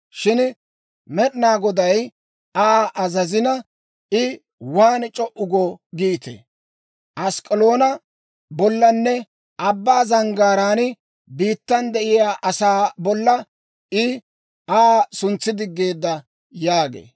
Shin Med'inaa Goday Aa azazina, I waan c'o"u go giitee? Ask'k'aloona bollanne abbaa zanggaaraan biittan de'iyaa asaa bolla I Aa suntsidiggeedda» yaagee.